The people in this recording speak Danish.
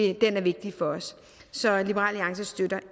er vigtig for os så liberal alliance støtter